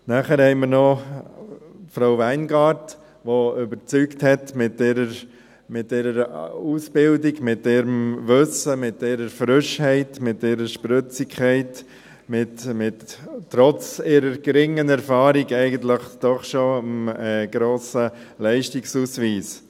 Weiter haben wir Frau Weingart, die mit ihrer Ausbildung überzeugt hat, mit ihrem Wissen, mit ihrer Frische, mit ihrer Spritzigkeit und einem, trotz ihrer geringen Erfahrung, doch schon grossen Leistungsausweis.